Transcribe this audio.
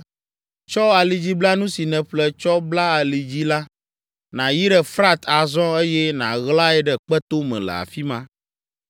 “Tsɔ alidziblanu si nèƒle tsɔ bla ali dzi la, nàyi ɖe Frat azɔ eye nàɣlae ɖe kpetome le afi ma.”